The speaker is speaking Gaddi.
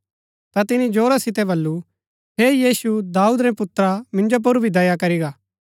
ता तिनी जोरा सितै वलु हे यीशु दाऊद रै पुत्रा मिन्जो पुर भी दया करी गा